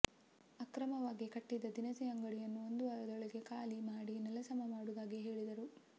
ಅಕ್ರಮವಾಗಿ ಕಟ್ಟಿದ್ದ ದಿನಸಿ ಅಂಗಡಿಯನ್ನು ಒಂದು ವಾರದೊಳಗೆ ಖಾಲಿ ಮಾಡಿ ನೆಲಸಮ ಮಾಡುವುದಾಗಿ ಹೇಳಿದರು